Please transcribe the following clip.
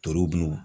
Torobunu